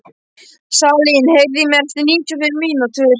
Salín, heyrðu í mér eftir níutíu og fimm mínútur.